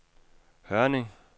Hørning